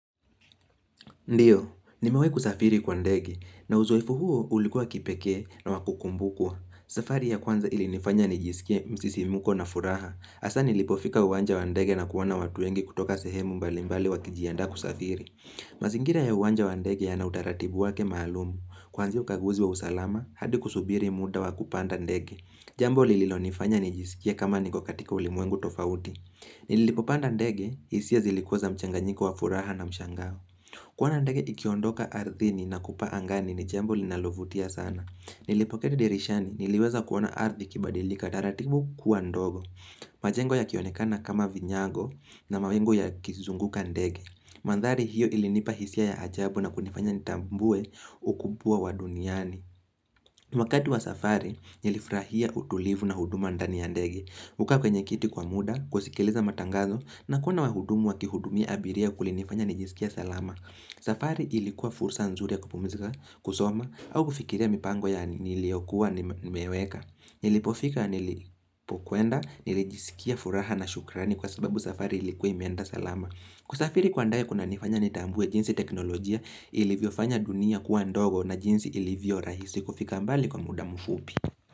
Ndiyo, nimewahibkusafiri kwa ndege, na uzoefu huo ulikuwa wackipekee na wakukumbukwa. Safari ya kwanza ilinifanya nijisikie msisimuko na furaha. Hasa nilipofika uwanja wa ndege na kuona watu wengi kutoka sehemu mbali mbali wakijianda kusafiri. Mazingira ya uwanja wa ndege yana utaratibu wake maalumul. Kwanzai ukaguzi wa usalama, hadi kusubiri muda wakupanda ndege. Jambo lililo nifanya nijisikie kama niko katika ulimwengu tofauti. Nilipopanda ndege hisia zilikuwa za mchanganyiko wa furaha na mshangao kuona ndege ikiondoka ardhini nakupaa angani ni jambo linalovutia sana Nilipoketi dirishani niliweza kuona ardhi ikibadilika taratibu kuwa ndogo majengo ya kionekana kama vinyago na mawingu yakizunguka ndege Mandhari hiyo ilinipa hisia ya ajabu na kunifanya nitambue ukubwa wa duniani wakati wa safari nilifurahia utulivu na huduma ndani ya ndege kukaa kwenye kiti kwa muda, kusikiliza matangazo na kuona wahudumu wa kihudumia abiria kulinifanya nijisikie salama. Safari ilikuwa fursa nzuri ya kupumzika kusoma au kufikiria mipango ya niliyokuwa nimeweka. Nilipofika nilipokuenda nilijisikia furaha na shukrani kwa sababu safari ilikuwa imeenda salama. Kusafiri kwa ndege kuna nifanya nitambue jinsi teknolojia ilivyo fanya dunia kuwa ndogo na jinsi ilivyo rahisi kufika mbali kwa muda mfupi.